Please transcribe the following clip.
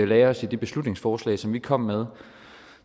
lagde os i det beslutningsforslag som vi kom med